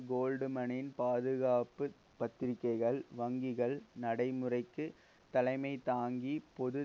கோல்ட்மனின் பாதுகாப்பு பத்திரிக்கைகள் வங்கிகள் நடைமுறைக்கு தலைமை தாங்கி பொது